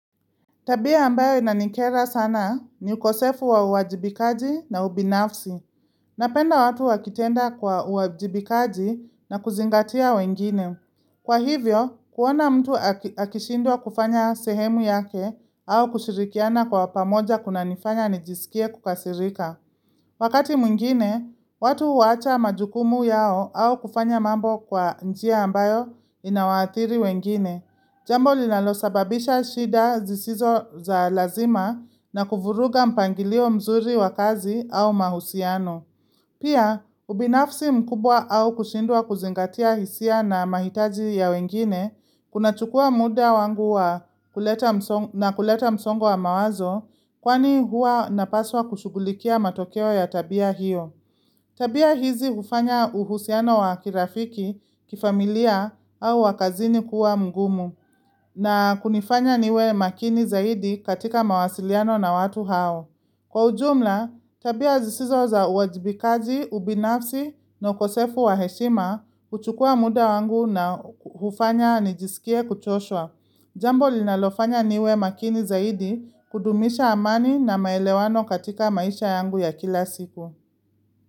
Tabia ambayo inanikera sana ni ukosefu wa uwajibikaji na ubinafsi. Napenda watu wakitenda kwa uwajibikaji na kuzingatia wengine. Kwa hivyo, kuona mtu akishindwa kufanya sehemu yake au kushirikiana kwa pamoja kunanifanya nijisikie kukasirika. Wakati mwingine, watu huacha majukumu yao au kufanya mambo kwa njia ambayo inawaathiri wengine. Jambo linalosababisha shida zisizo za lazima na kuvuruga mpangilio mzuri wa kazi au mahusiano. Pia, ubinafsi mkubwa au kushindwa kuzingatia hisia na mahitaji ya wengine, kunachukua muda wangu na kuleta msongo wa mawazo, kwani huwa napaswa kushughulikia matokeo ya tabia hiyo. Tabia hizi hufanya uhusiano wa kirafiki, kifamilia au wa kazini kuwa mgumu. Na kunifanya niwe makini zaidi katika mawasiliano na watu hao. Kwa ujumla, tabia zisizo za uwajibikaji, ubinafsi na ukosefu wa heshima huchukua muda wangu na hufanya nijisikie kuchoshwa. Jambo linalofanya niwe makini zaidi kudumisha amani na maelewano katika maisha yangu ya kila siku.